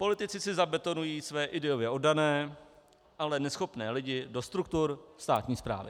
Politici si zabetonují své ideově oddané, ale neschopné lidi do struktur státní správy.